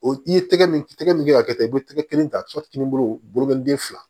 O i ye tɛgɛ min tɛgɛ min ka kɛ ta i bɛ tɛgɛ kelen ta n bolo den fila